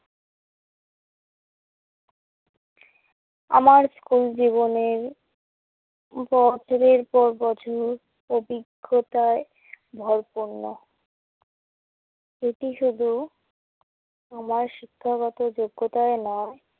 আমার স্কুল জীবনের বছরের পর বছর অভিজ্ঞতায় ভরপূর্ণ। এটি শুধু আমার শিক্ষগত যোগ্যতায় নয়।